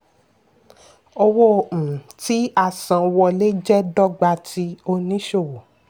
owó um tí-a-san-wọ́lé jẹ́ dọ́gba ti oníṣòwò.